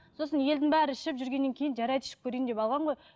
сосын елдің бәрі ішіп жүргеннен кейін жарайды ішіп көрейін деп алған ғой